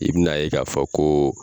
I bi n'a ye k'a fɔ koo